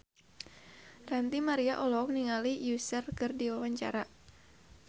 Ranty Maria olohok ningali Usher keur diwawancara